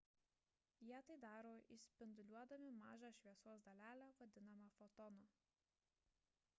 jie tai daro išspinduliuodami mažą šviesos dalelę vadinamą fotonu